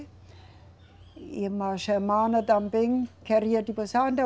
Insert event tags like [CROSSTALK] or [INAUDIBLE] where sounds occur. E irmã Germana também queria [UNINTELLIGIBLE]